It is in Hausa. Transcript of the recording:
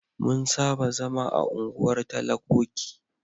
Mun saba zama a unguwar talakoki.